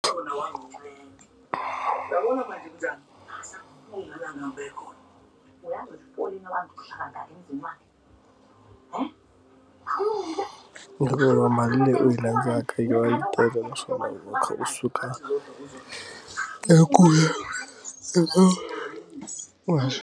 Hikuva mali leyi u yi landzaka yi teka xana u khe u suka i ku eka wona.